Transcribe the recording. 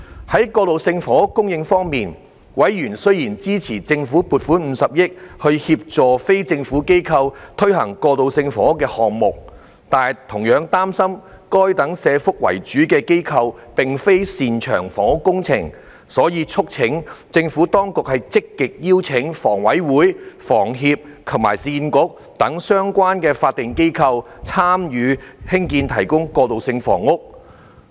在過渡性房屋供應方面，委員雖然支持政府撥款50億元，協助非政府機構推行過渡性房屋項目，但同樣擔心該等社福為主的機構並非擅長房屋工程，所以促請政府當局積極邀請香港房屋委員會、香港房屋協會及市區重建局等相關法定機構，參與興建、提供過渡性房屋。